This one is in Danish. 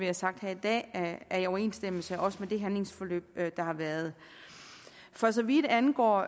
har sagt her i dag er i overensstemmelse også med det handlingsforløb der har været for så vidt angår